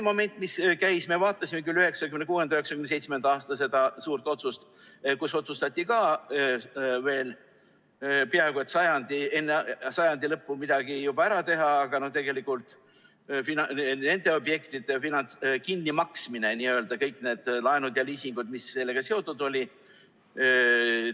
Me vaatasime üle 1996.–1997. aasta suure otsuse, kus otsustati veel peaaegu enne sajandi lõppu midagi ära teha, aga tegelikult nende objektide n‑ö kinnimaksmine, kõik need laenud ja liisingud, mis sellega seotud olid,.